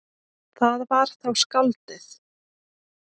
Það var þá skáldið.